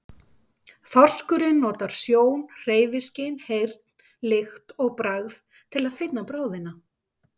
Þorskurinn notar sjón, hreyfiskyn, heyrn, lykt og bragð til að finna bráðina.